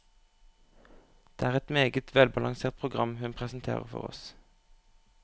Det er et meget velbalansert program hun presenterer for oss.